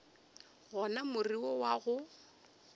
gona more wo wa go